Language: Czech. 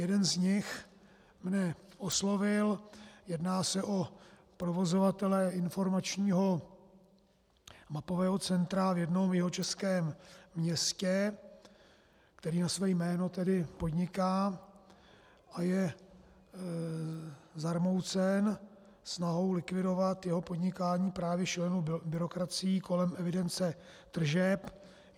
Jeden z nich mne oslovil, jedná se o provozovatele informačního mapového centra v jednom jihočeském městě, který na své jméno tedy podniká a je zarmoucen snahou zlikvidovat jeho podnikání právě šílenou byrokracií kolem evidence tržeb.